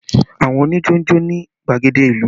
Àwọn onijo ń jó ní gbàgede ìlú